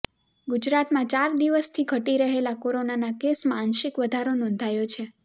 ગુજરાતમાં ચાર દિવસથી ઘટી રહેલા કોરોનાના કેસમાં આંશિક વધારો નોંધાયો છે